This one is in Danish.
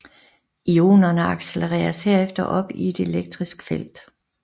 Ionerne accelereres herefter op i et elektrisk felt